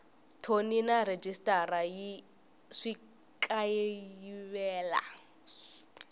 thoni na rhejisitara swi kayivela